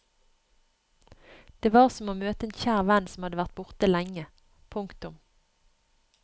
Det var som å møte en kjær venn som hadde vært borte lenge. punktum